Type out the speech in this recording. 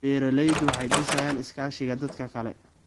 Beeraleydu waxay dhisayaan iskaashiga dadka kale.